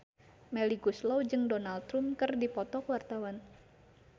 Melly Goeslaw jeung Donald Trump keur dipoto ku wartawan